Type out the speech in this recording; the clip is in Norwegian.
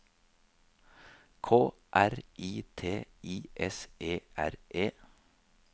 K R I T I S E R E